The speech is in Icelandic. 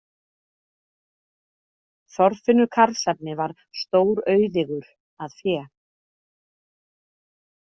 Þorfinnur karlsefni var stórauðigur að fé.